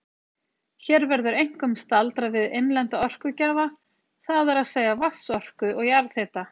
Hér verður einkum staldrað við innlenda orkugjafa, það er að segja vatnsorku og jarðhita.